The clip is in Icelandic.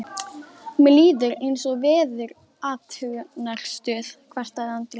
Mér líður eins og í veðurathugunarstöð, kvartaði Andri.